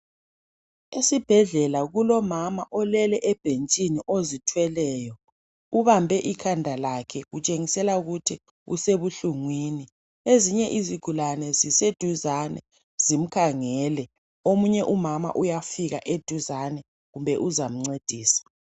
Esibhedlela kulomama olele ebhentshini ozithweleyo, ubambe ikhanda lakhe kutshengisela ukuthi usebuhlungwini, ezinye izigulane zise duzane zimkhangele, omunye umama uyafika eduzane kumbe uzamncedisa.